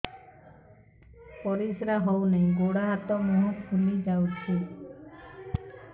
ପରିସ୍ରା ହଉ ନାହିଁ ଗୋଡ଼ ହାତ ମୁହଁ ଫୁଲି ଯାଉଛି